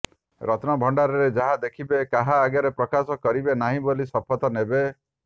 ରତ୍ନଭଣ୍ଡାରରେ ଯାହା ଦେଖିବେ କାହା ଆଗରେ ପ୍ରକାଶ କରିବେ ନାହିଁ ବୋଲି ଶପଥ ନେବେ